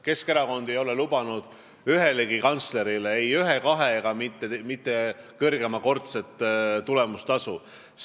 Keskerakond ei ole ühelegi kantslerile lubanud ei ühekordset, kahekordset ega suuremat tulemustasu.